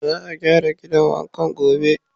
Za a gyara gidan wankan gobe.